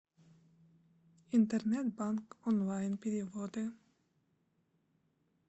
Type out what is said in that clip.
интернет банк онлайн переводы